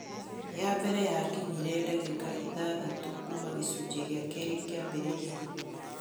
Ya mbere yakinyire, ndagĩka ithathatũ kuuma gĩcunjĩ gĩa kerĩ kĩambĩrĩria.